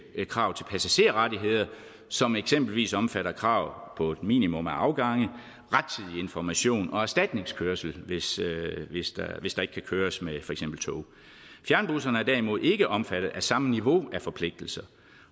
krav til passagerrettigheder som eksempelvis omfatter krav på et minimum af afgange rettidig information og erstatningskørsel hvis der ikke kan køres med for eksempel tog fjernbusserne er derimod ikke omfattet af samme niveau af forpligtelser